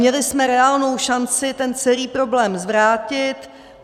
Měli jsme reálnou šanci ten celý problém zvrátit.